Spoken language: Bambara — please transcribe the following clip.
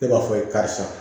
E b'a fɔ karisa